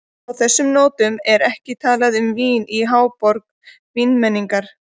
Á þessum nótum er ekki talað um vín í háborg vínmenningar.